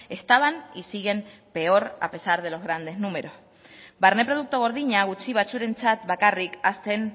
estaban y siguen peor a pesar de los grandes números barne produktu gordina gutxi batzuentzat bakarrik hazten